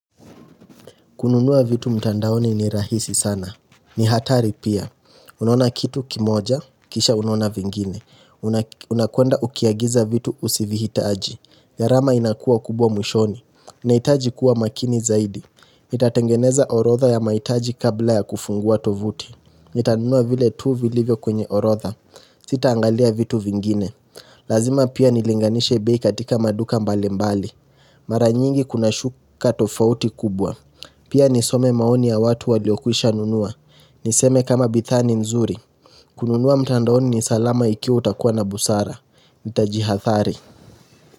Kununua vitu mtandaoni ni rahisi sana. Ni hatari pia. Unona kitu kimoja, kisha unaona vingine. Unakwenda ukiagiza vitu usivihitaji. Gharama inakua kubwa mwishoni. Nahitaji kuwa makini zaidi. Nitatengeneza orodha ya maitaji kabla ya kufungua tovuti. Itanunua vile tuu vilivyo kwenye orotha. Sita angalia vitu vingine. Lazima pia nilinganisha bei katika maduka mbali mbali. Mara nyingi kuna shuka tofauti kubwa. Pia nisome maoni ya watu waliokuisha nunua Niseme kama bidhaa ni nzuri kununua mtandaoni ni salama iki utakuwa na busara nitajihathari.